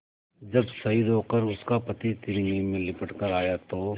जब शहीद होकर उसका पति तिरंगे में लिपट कर आया था तो